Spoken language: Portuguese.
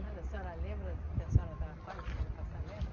Mas a senhora lembra que a senhora estava quase no passamento?